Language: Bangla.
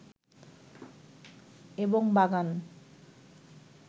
এবং বাগান